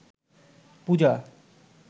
পূজা